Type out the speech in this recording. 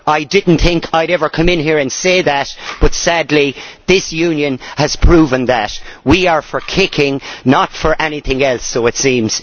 I did not think I would ever come in here and say that, but sadly this Union has proven that we are for kicking, not for anything else so it seems.....